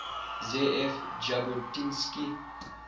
ze ev jabotinsky